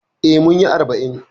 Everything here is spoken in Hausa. Eh, munyi arba'in